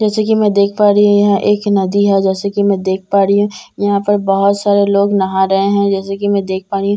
जैसे कि मैं देख पा रही हूं यह एक नदी है जैसे कि मैं देख पा रही हूं यहां पर बहुत सारे लोग नहा रहे हैं जैसे कि मैं देख पा रही हूं।